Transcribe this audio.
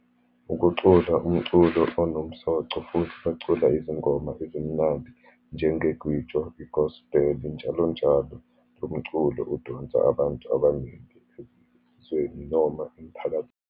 Ukucula umculo onomsoco, futhi bacula izingoma ezimnandi njenge-gwijo, i-gospel, njalonjalo. Lo mculo udonsa abantu abaningi ezweni noma emphakathini.